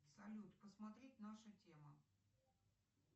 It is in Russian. салют посмотреть наша тема